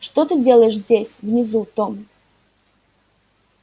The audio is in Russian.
что ты делаешь здесь внизу том